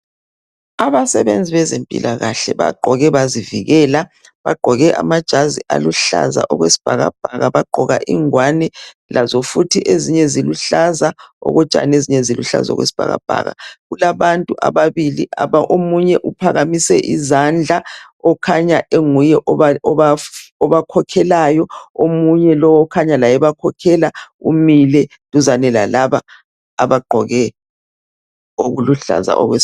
Abasebenzi bezempilakahle bagqoke bazivikela. Bagqoke amajazi aluhlaza okwesibhakabhaka, bagqoka ingwane lazo futhi eziluhlaza okotshani, ezinye okwesibhakabhaka. Kulabantu ababili, omunye uphakamise izandla, ukhanya enguye obakhokhelayo, omunye laye okhanya ebakhokhela umile duzane lalaba abagqoke okuluhlaza okwesibhakabhaka.